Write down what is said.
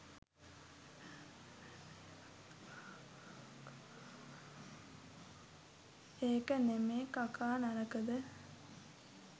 ඒක නෙමේ කකා නරකද